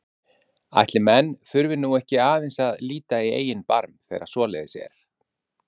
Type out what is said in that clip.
Ætli menn þurfi nú ekki aðeins að líta í eigin barm þegar að svoleiðis er?